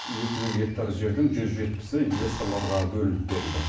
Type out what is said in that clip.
екі жүз гектар жердің жүз жетпісі инвесторларға бөлініп берілді